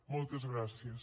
moltes gràcies